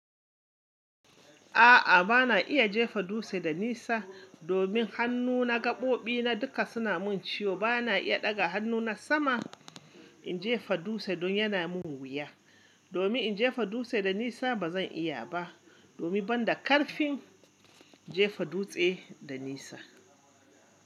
A'a, ba na iya jefa dutse da nisa. Domin hannuna gaɓoɓi na duka suna mun ciwo. Ba na iya ɗaga hannuna sama in jefa dutse don yana mun wuya. Domin in jefa dutse da nisa ba zan iya ba. Domin ban da ƙarfin jefa dutse da nisa.